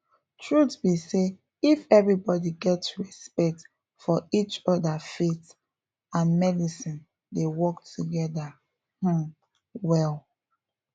truth be say if everybody get respect for each other faith and medicine dey work together um well